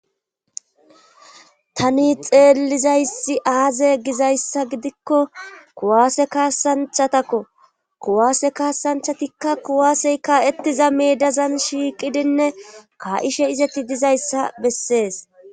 Tani xeellizayssi aaze gizayssa gidikko kuwaase kaasanchatakko kuwaase kaasanchatikka kuwaasey kaa7ettiza meedazan shiiqidinne ka7ishe izetti dizayssa bessees.